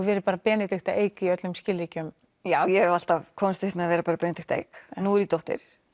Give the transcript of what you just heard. verið bara Benedikta Eik í öllum skilríkjum já ég hef alltaf komist upp með að vera bara Benedikta Eik en nú er ég dóttir